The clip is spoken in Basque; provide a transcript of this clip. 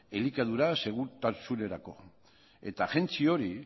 elikadura segurtasunerako eta agentzia hori